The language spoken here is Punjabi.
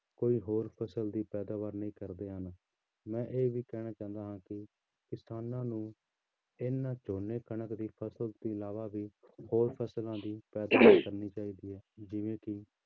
ਕੋਈ ਹੋਰ ਫ਼ਸਲ ਦੀ ਪੈਦਾਵਾਰ ਨਹੀਂ ਕਰਦੇ ਹਨ, ਮੈਂ ਇਹ ਵੀ ਕਹਿਣਾ ਚਾਹੁੰਦਾ ਹਾਂ ਕਿ ਕਿਸਾਨਾਂ ਨੂੰ ਇਹਨਾਂ ਝੋਨੇ ਕਣਕ ਦੀ ਫ਼ਸਲ ਤੋਂ ਇਲਾਵਾ ਵੀ ਹੋਰ ਫ਼ਸਲਾਂ ਦੀ ਪੈਦਾਵਾਰ ਕਰਨੀ ਚਾਹੀਦੀ ਹੈ ਜਿਵੇਂ ਕਿ